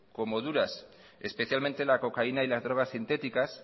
como duras especialmente la cocaína y las drogas sintéticas